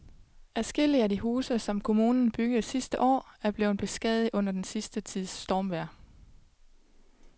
Adskillige af de huse, som kommunen byggede sidste år, er blevet beskadiget under den sidste tids stormvejr.